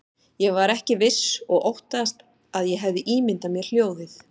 Ég var ekki viss og óttaðist að ég hefði ímyndað mér hljóðið.